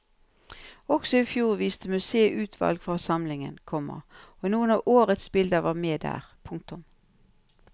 Også i fjor viste museet utvalg fra samlingen, komma og noen av årets bilder var med der. punktum